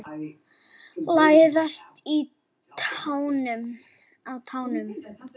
Læðast á tánum.